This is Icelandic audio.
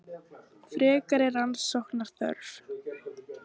Frekari rannsóknar þörf